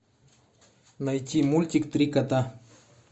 найти мультик три кота